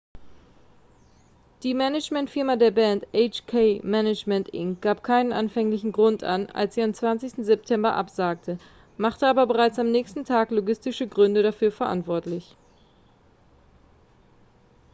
die managementfirma der band hk management inc. gab keinen anfänglichen grund an als sie am 20. september absagte machte aber bereits am nächsten tag logistische gründe dafür verantwortlich